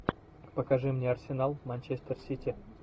покажи мне арсенал манчестер сити